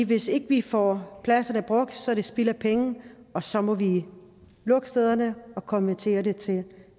hvis ikke vi får pladserne brugt så er det spild af penge og så må vi lukke stederne og konvertere det til